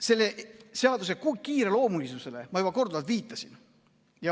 Selle seaduse kiireloomulisusele ma juba korduvalt viitasin.